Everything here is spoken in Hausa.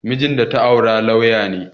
Mijin da ta aura lauya ne